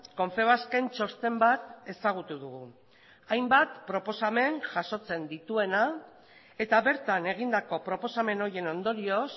confebasken txosten bat ezagutu dugu hainbat proposamen jasotzen dituena eta bertan egindako proposamen horien ondorioz